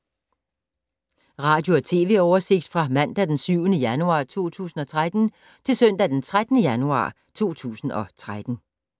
Radio/TV oversigt fra mandag d. 7. januar 2013 til søndag d. 13. januar 2013